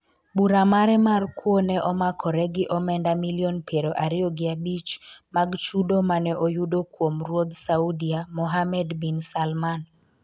bura mare mar kwo ne omakore gi omenda milion piero ariyo gi abich mag chudo mane oyudo kuom ruoth Saudia Mohammed Bin Salman